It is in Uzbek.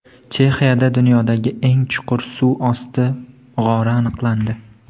Chexiyada dunyodagi eng chuqur suv osti g‘ori aniqlandi.